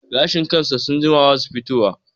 Gashin kansa sun jima basu fito wa